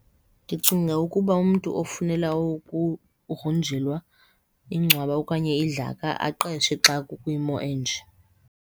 Ndicinga ukuba umntu ofunela ukugrunjelwa ingcwaba okanye idlaka aqeshe xa kukwimo enje.